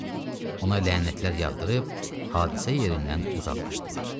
Ona lənətlər yağdırıb hadisə yerindən uzaqlaşdılar.